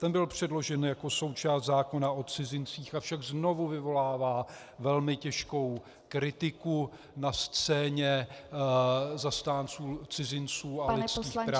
Ten byl předložen jako součást zákona o cizincích, avšak znovu vyvolává velmi těžkou kritiku na scéně zastánců cizinců a lidských práv -